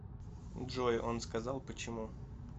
джой он сказал почему